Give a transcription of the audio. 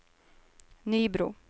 Nybro